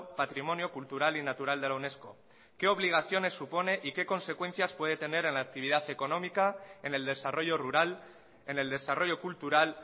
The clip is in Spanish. patrimonio cultural y natural de la unesco qué obligaciones supone y qué consecuencias puede tener en la actividad económica en el desarrollo rural en el desarrollo cultural